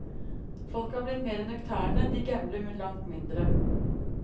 Folk er blitt mer nøkterne, de gambler langt mindre.